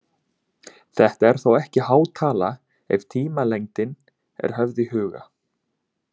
Þetta er þó ekki há tala ef tímalengdin er höfð í huga.